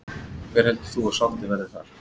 Hver heldur þú að sáttin verði þar?